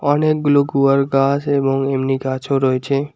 অনেকগুলো গুয়ার গাছ এবং এমনি গাছও রয়েছে।